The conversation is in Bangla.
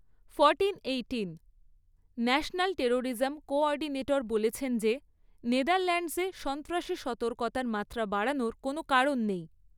ন্যাশনাল টেরোরিজম কো অর্ডিনেটর বলেছেন যে নেদারল্যান্ডসে সন্ত্রাসী সতর্কতার মাত্রা বাড়ানোর কোনো কারণ নেই।